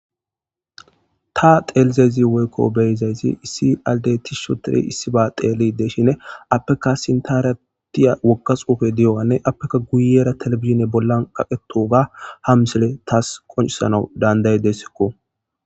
Ta xelizayisi wiyiko beyidayis issi adeyi tishi othi issiba xeilshe desishin apeka sinthara wogga xufeyi dewugane apekka guyira television bollan kaqidoga ha misileyi tassi qoncisanawu dandayidayasko